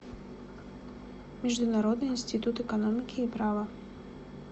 международный институт экономики и права